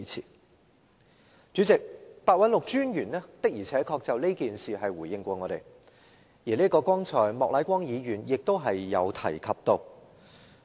代理主席，白韞六專員的而且確曾就此事回應我們，剛才莫乃光議員亦已提及。